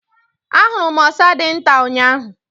I saw a very small squirrel yesterday.